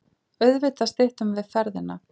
Auðvitað styttum við ferðina.